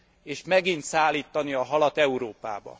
és megint szállítani a halat Európába.